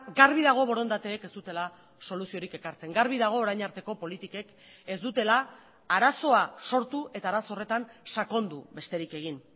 garbi dago borondateek ez dutela soluziorik ekartzen garbi dago orain arteko politikek ez dutela arazoa sortu eta arazo horretan sakondu besterik egin